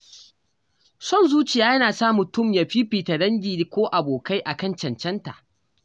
Son zuciya yana sa mutum ya fifita dangi ko abokai a kan cancanta.